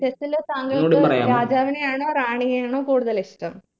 chess ല് താങ്കൾക്ക് രാജാവിനെയാണോ റാണിയെയാണോ കൂടുതൽ ഇഷ്ട്ടം